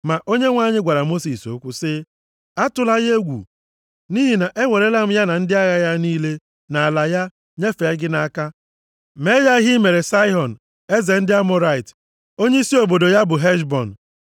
Ma Onyenwe anyị gwara Mosis okwu, sị, “Atụla ya egwu nʼihi na ewerela m ya na ndị agha ya niile, na ala ya, nyefee gị nʼaka. Mee ya ihe i mere Saịhọn eze ndị Amọrait onyeisi obodo ya bụ Heshbọn.”